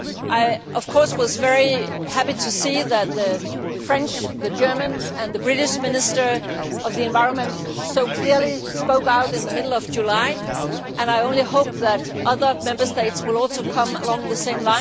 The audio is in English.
I, of course, was very happy to see that the French, German and British Ministers of the Environment so clearly spoke out in the middle of July, and I only hope that other Member States will do the same.